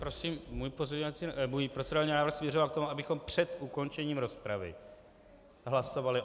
Prosím, můj procedurální návrh směřoval k tomu, abychom před ukončením rozpravy hlasovali.